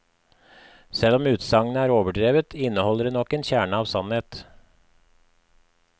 Selv om utsagnet er overdrevet, inneholder det nok en kjerne av sannhet.